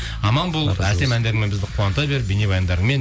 аман бол әсем әндеріңмен бізді қуанта бер бейнебаяндарыңмен